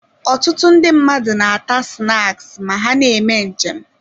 Ọtụtụ ndị mmadụ na-ata snaks ma ha na-eme nje m.